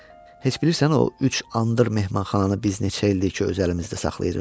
Heç bilirsən o üç andır mehmanxananı biz neçə ildir ki, öz əlimizdə saxlayırıq?